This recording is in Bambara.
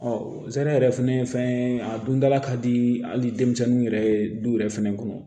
zɛrɛ yɛrɛ fɛnɛ ye fɛn ye a dundala ka di hali denmisɛnninw yɛrɛ ye du yɛrɛ fɛnɛ kɔnɔ